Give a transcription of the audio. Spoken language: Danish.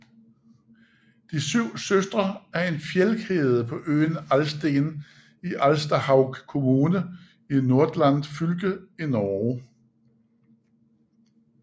De syv søstre er en fjeldkæde på øen Alsten i Alstahaug kommune i Nordland fylke i Norge